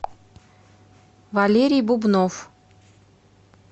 валерий бубнов